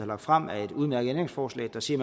lagt frem er et udmærket ændringsforslag der siger